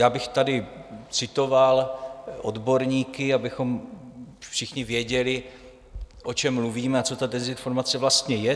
Já bych tady citoval odborníky, abychom všichni věděli, o čem mluvíme a co ta dezinformace vlastně je.